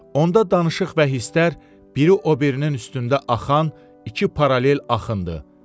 Onda danışıq və hisslər biri o birinin üstündə axan iki paralel axındır.